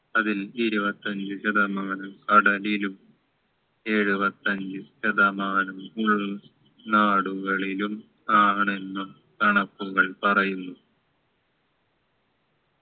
അതിൽ ഇരുപത്തഞ്ചു ശതമാനം കടലിലും എഴുപത്തഞ്ചു ശതമാനം ഉൾ നാടുകളിലും ആണെന്നും കണക്കുകൾ പറയുന്നു